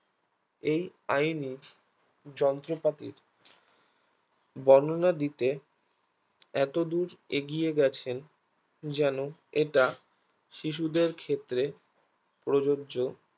এই আইনি যন্ত্রপাতির বর্ণনা দিতে এতদূর এগিয়ে গেছেন যেন এটা শিশুদের ক্ষেত্রে প্রযোজ্য